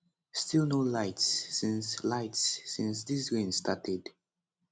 still no lights since lights since dis rain started